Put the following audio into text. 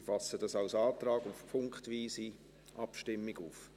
Ich fasse dies als Antrag auf punktweise Abstimmung auf.